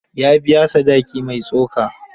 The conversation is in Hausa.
Ya biya sadaki mai tsoka.